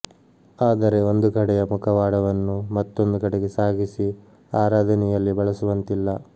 ಆದರೆ ಒಂದು ಕಡೆಯ ಮುಖವಾಡವನ್ನು ಮತ್ತೊಂದು ಕಡೆಗೆ ಸಾಗಿಸಿ ಆರಾಧನೆಯಲ್ಲಿ ಬಳಸುವಂತಿಲ್ಲ